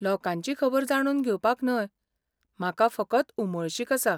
लोकांची खबर जाणून घेवपाक न्हय, म्हाका फकत उमळशीक आसा.